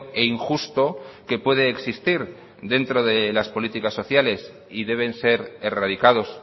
e injusto que puede existir dentro de las políticas sociales y deben ser erradicados